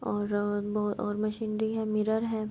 اور اور مشینری ہے مرر ہے۔